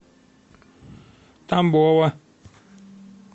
тамбова